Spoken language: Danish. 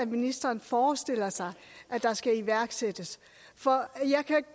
ministeren forestiller sig der skal iværksættes for jeg kan